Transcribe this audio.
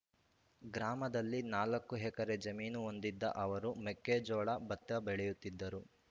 ಗ್ರಾಮದಲ್ಲಿ ನಾಲ್ಕು ಎಕರೆ ಜಮೀನು ಹೊಂದಿದ್ದ ಅವರು ಮೆಕ್ಕೆಜೋಳ ಭತ್ತ ಬೆಳೆಯುತ್ತಿದ್ದರು